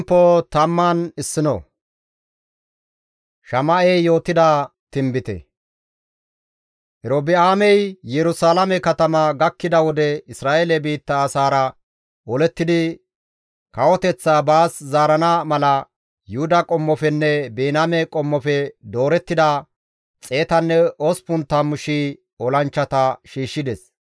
Erobi7aamey Yerusalaame katama gakkida wode Isra7eele biitta asaara olettidi kawoteththaa baas zaarana mala, Yuhuda qommofenne Biniyaame qommofe doorettida 180,000 olanchchata shiishshides.